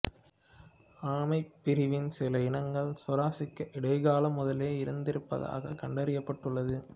ஆமைப் பிரிவின் சில இனங்கள் சுராசிக் இடைக்காலம் முதலே இருந்திருப்பதாகக் கண்டறியப்பட்டடுள்ளது